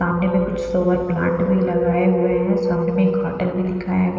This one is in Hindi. सामने में कुछ सोअर प्लांट भी लगाए हुए हैं सामने में एक होटल भी दिखाया --